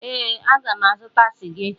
Ee, aga m azụta sịga echi.